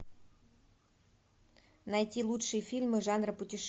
найти лучшие фильмы жанра путешествия